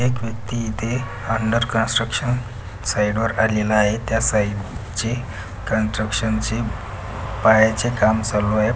एक व्यक्ति इथे अंडर कंट्रक्शन साइड वर आलेला आहे त्या साइड ची कंट्रक्शन ची काम चालू आहे.